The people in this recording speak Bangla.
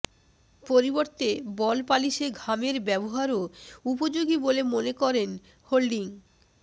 পরিবর্তে বল পালিশে ঘামের ব্যবহারও উপযোগী বলে মনে করেন হোল্ডিং